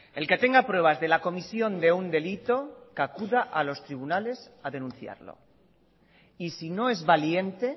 el que tenga pruebas de la comisión de un delito que acuda a los tribunales a denunciarlo y si no es valiente